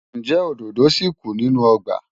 Ǹjẹ́ òdòdó ṣì kù nínú ọgbà?